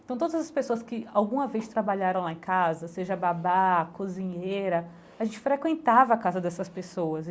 Então, todas as pessoas que, alguma vez, trabalharam lá em casa, seja babá, cozinheira, a gente frequentava a casa dessas pessoas.